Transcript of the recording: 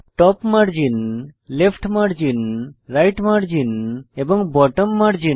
top margin left margin right margin এবং bottom margin